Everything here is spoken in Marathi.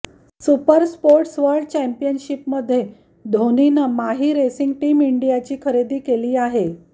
सुपरस्पोर्ट्स वर्ल्ड चॅम्पियनशीपमध्ये धोनीनं माही रेसिंग टीम इंडियाची खरेदी केली आहे